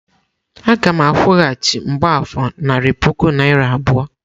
Aga m akwụghachi mgbafor narị puku naịra abụọ.